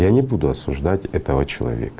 я не буду осуждать этого человек